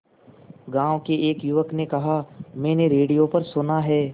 गांव के एक युवक ने कहा मैंने रेडियो पर सुना है